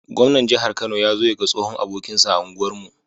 Gwamnan jahar kano yazo yaga tsohon abokinsa a unguwar mu